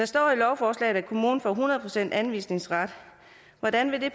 står i lovforslaget at kommunen får hundrede procent anvisningsret hvordan vil det